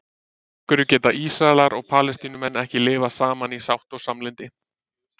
Af hverju geta Ísraelar og Palestínumenn ekki lifað saman í sátt og samlyndi?